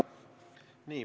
Tore.